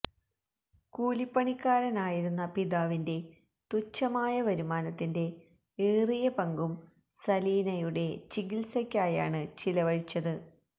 കൂലിപ്പണിക്കാരനായിരുന്ന പിതാവിന്റെ തുഛമായ വരുമാനത്തിന്റെ എറിയ പങ്കും സലീനയുടെ ചികിത്സക്കായാണ് ചിലവഴിച്ചത്